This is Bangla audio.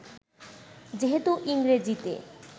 যেহেতু ইংরেজিতে